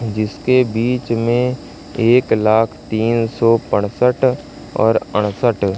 जिसके बीच में एक लाख तीन सौ पैंसठ और उनसठ--